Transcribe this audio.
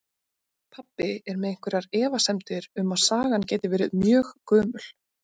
Pabbi er með einhverjar efasemdir um að sagan geti verið mjög gömul.